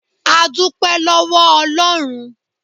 A dúpẹ́ lọ́wọ́ Ọlọ́run.